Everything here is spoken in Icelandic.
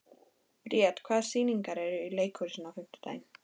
Briet, hvaða sýningar eru í leikhúsinu á fimmtudaginn?